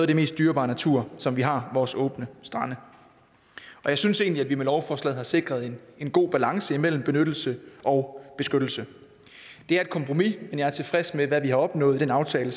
det mest dyrebare natur som vi har vores åbne strande jeg synes egentlig at vi med lovforslaget har sikret en god balance mellem benyttelse og beskyttelse det er et kompromis men jeg er tilfreds med hvad vi har opnået i aftalen